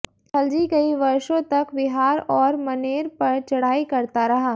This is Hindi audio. खलजी कई वर्षों तक विहार ओर मनेर पर चढ़ाई करता रहा